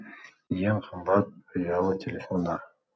ең қымбат ұялы телефондар